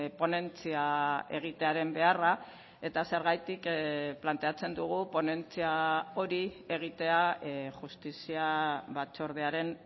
ponentzia egitearen beharra eta zergatik planteatzen dugu ponentzia hori egitea justizia batzordearen